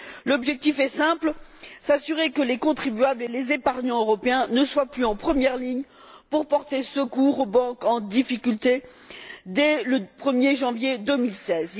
L'objectif est simple s'assurer que les contribuables et les épargnants européens ne soient plus en première ligne pour porter secours aux banques en difficulté, dès le 1erjanvier2016.